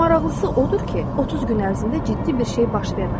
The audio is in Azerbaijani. Maraqlısı odur ki, 30 gün ərzində ciddi bir şey baş vermədi.